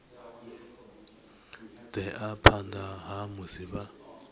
ḓea phanḓa ha musi vha